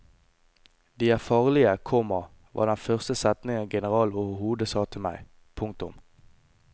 De er farlige, komma var den første setningen generalen overhodet sa til meg. punktum